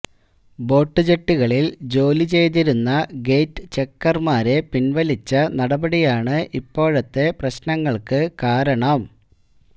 boat ജെട്ടികളില് ജോലി ചെയ്തിരുന്ന േഗറ്റ് ചെക്കര്മാരെ പിന്വലിച്ച നടപടിയാണ് ഇപ്പോഴത്തെ പ്രശ്നങ്ങള്ക്ക് കാരണം